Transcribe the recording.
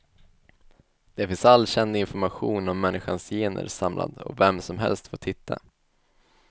Där finns all känd information om människans gener samlad och vem som helst får titta.